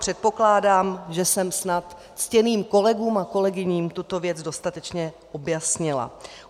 Předpokládám, že jsem snad ctěným kolegům a kolegyním tuto věc dostatečně objasnila.